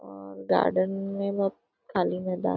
और गार्डन है खाली मैदान --